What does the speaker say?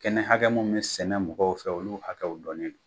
Kɛnɛ hakɛ mun be sɛnɛ mɔgɔw fɛ olu hakɛw dɔnnen do.